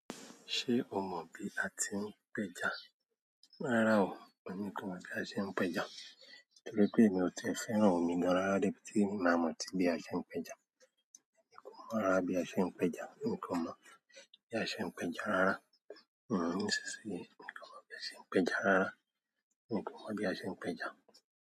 Ṣé o mọ̀ bí a ti ń péja? Rárá o, èmi kò mọ̀ bí a ṣe ń péja. Torí pé èmi ò tí e fẹ́ràn òmi gan rara debi ti máa mọ̀ tí bí a ṣe ń péja. Èmi kò mọ̀ rára bí a ṣe ń péja. Èmi kò mọ̀ bí a ṣe ń péja rárá. Nísinsìnyí, èmi kò mọ̀ bí a ṣe ń péja rárá. Èmi kò mọ́ bí a ṣe ń péja.